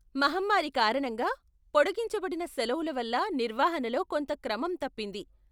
మహమ్మారి కారణంగా పొడిగించబడిన సెలవుల వల్ల నిర్వహణలో కొంత క్రమం తప్పింది.